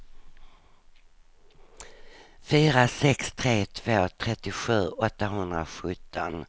fyra sex tre två trettiosju åttahundrasjutton